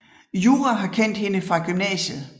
Yura har kendt hende fra gymnasiet